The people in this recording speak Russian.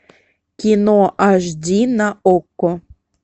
кино аш ди на окко